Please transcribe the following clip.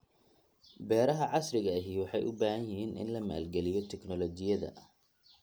Beeraha casriga ahi waxay u baahan yihiin in la maalgeliyo tignoolajiyada.